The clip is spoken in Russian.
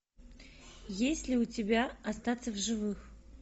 есть ли у тебя остаться в живых